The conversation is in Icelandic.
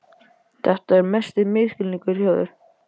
Þetta er mesti misskilningur hjá þér!